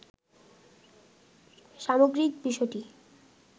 সামগ্রিক বিষয়টি